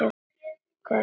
Í hvað langar þig?